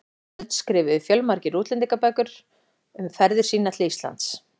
öld skrifuðu fjölmargir útlendingar bækur um ferðir sínar til Íslands.